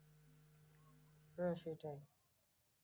হ্যাঁ সেটাই।